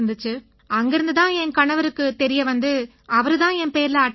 அங்கிருந்து தான் என் கணவருக்கு தெரிய வந்து அவரு தான் என் பேர்ல அட்டை எடுத்தாரு